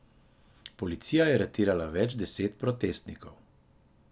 Policija je aretirala več deset protestnikov.